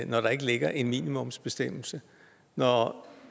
når der ikke ligger en minimumsbestemmelse når